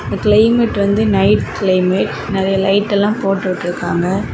இந்த கிளைமேட் வந்து night climate நெறைய லைட் எல்லா போட்டு விட்டுருக்காங்க.